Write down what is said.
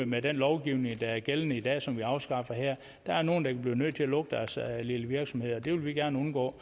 med den lovgivning der er gældende i dag og som vi afskaffer her der er nogle der kan blive nødt til at lukke deres lille virksomhed og det vil vi gerne undgå